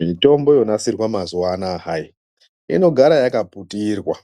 Mitombo yonasirwa mazuwa anaya hayii ,inogara yakaputirwa